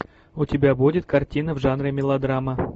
у тебя будет картина в жанре мелодрама